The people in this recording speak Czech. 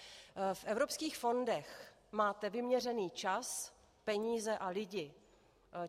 V evropských fondech máte vyměřený čas, peníze a lidi.